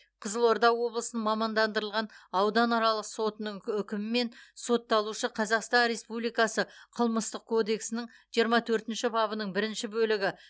қызылорда облысының мамандандырылған ауданаралық сотының үкімімен сотталушы қазақстан республикасы қылмыстық кодексінің жиырма төртінші бабының бірінші бөлігі